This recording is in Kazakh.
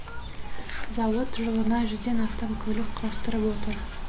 зауыт жылына жүзден астам көлік құрастырып отыр